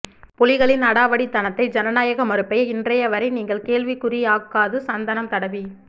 புலிகளின் அடாவடிதனத்தை ஜனநாயக மறுப்பை இன்றையவரை நீங்கள் கேள்விக்குறியாக்காது சந்தனம் தடவி